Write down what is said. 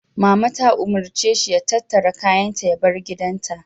Mallama ta umarce shi ya tattara kayansa ya bar gidanta.